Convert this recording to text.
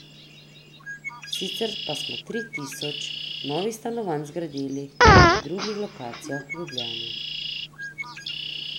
Sicer pa smo tri tisoč novih stanovanj zgradili na drugih lokacijah v Ljubljani.